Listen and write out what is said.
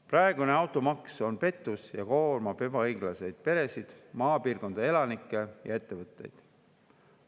Praegune automaks on pettus ja koormab ebaõiglaselt peresid, maapiirkondade elanikke ja ettevõtteid.